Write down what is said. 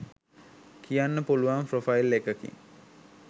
කියන්න පුළුවන් ප්‍රොෆයිල් එකකින්.